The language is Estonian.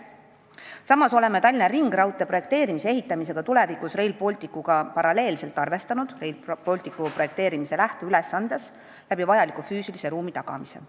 Samas oleme paralleelselt Tallinna ringraudtee projekteerimise ja tulevikus ehitamisega arvestanud Rail Balticu projekteerimise lähteülesandes vajaliku füüsilise ruumi tagamisega.